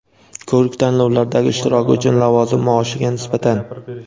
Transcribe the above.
ko‘rik tanlovlardagi ishtiroki uchun lavozim maoshiga nisbatan:.